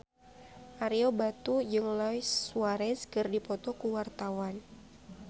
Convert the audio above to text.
Ario Batu jeung Luis Suarez keur dipoto ku wartawan